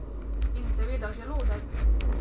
In seveda želodec.